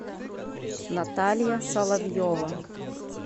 наталья соловьева